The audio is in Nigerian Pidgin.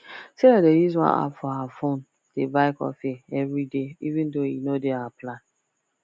sarah dey use one app for her phone dey buy coffee every day even though e no dey her plan